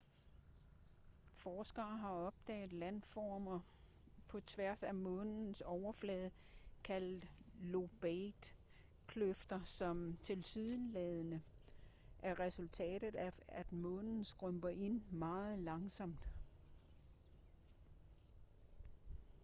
forskere har opdaget landformer på tværs af månens overflade kaldet lobate kløfter som tilsyneladende er resultater af at månen skrumper ind meget langsomt